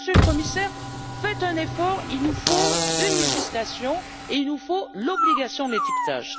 Monsieur le Commissaire, faites un effort, il nous faut une législation et il nous faut l'obligation d'étiquetage.